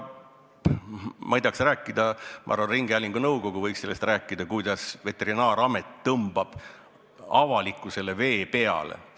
Ma ei tea, kas rääkida – ma arvan, et Ringhäälingunõukogu võiks sellest rääkida –, kuidas Veterinaaramet tõmbab avalikkusele vee peale.